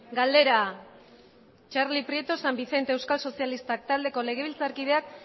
galdera txarli prieto san vicente euskal sozialistak taldeko legebiltzarkideak